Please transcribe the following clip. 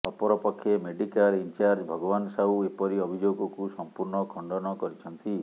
ଅପରପକ୍ଷେ medical in charge Bhagaban Sahu ଏପରି ଅଭିଯୋଗକୁ ସମ୍ପୂର୍ଣ୍ଣ ଖଣ୍ଡନ କରିଛନ୍ତି